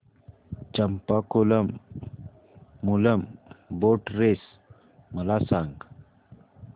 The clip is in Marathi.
चंपाकुलम मूलम बोट रेस मला सांग